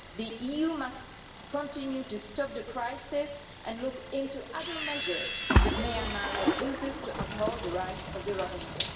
The EU must continue working to stop the crisis and it must look into other measures if Myanmar refuses to uphold the rights of the Rohingya.